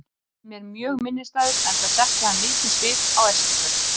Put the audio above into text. Hann er mér mjög minnisstæður enda setti hann mikinn svip á Eskifjörð.